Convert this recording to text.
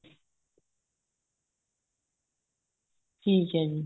ਠੀਕ ਏ ਜੀ